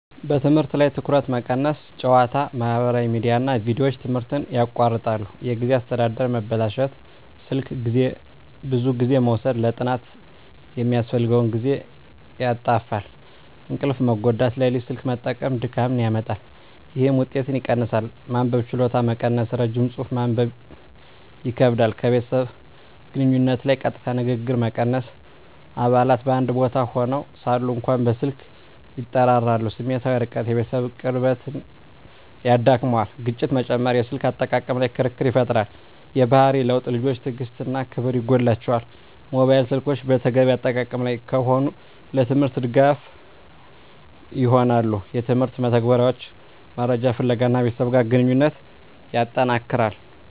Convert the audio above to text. በትምህርት ላይ ትኩረት መቀነስ ጨዋታ፣ ማህበራዊ ሚዲያ እና ቪዲዮዎች ትምህርትን ያቋርጣሉ። የጊዜ አስተዳደር መበላሸት ስልክ ብዙ ጊዜ መውሰድ ለጥናት የሚያስፈልገውን ጊዜ ያጣፋፋል። እንቅልፍ መጎዳት ሌሊት ስልክ መጠቀም ድካምን ያመጣል፣ ይህም ውጤትን ይቀንሳል። መንበብ ችሎታ መቀነስ ረጅም ጽሑፍ ማንበብ ይከብዳል። ከቤተሰብ ግንኙነት ላይ ቀጥታ ንግግር መቀነስ አባላት በአንድ ቦታ ሆነው ሳሉ እንኳ በስልክ ይጠራራሉ። ስሜታዊ ርቀት የቤተሰብ ቅርብነት ይዳክመዋል። ግጭት መጨመር የስልክ አጠቃቀም ላይ ክርክር ይፈጠራል። የባህሪ ለውጥ ልጆች ትዕግሥት እና ክብር ይጎላቸዋል። ሞባይል ስልኮች በተገቢ አጠቃቀም ላይ ከሆኑ፣ ለትምህርት ድጋፍ ይሆናሉ (የትምህርት መተግበሪያዎች፣ መረጃ ፍለጋ) እና ከቤተሰብ ጋር ግንኙነትን ያጠነክራል።